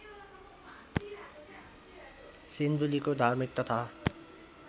सिन्धुलीको धार्मिक तथा